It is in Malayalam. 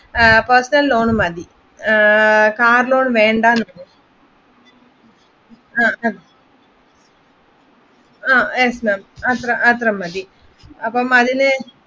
personal loan മതി കാർ ലോൺ വേണ്ടാ yes ma'am അത്ര മതി അപ്പൊ അതിന്